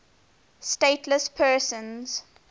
stateless persons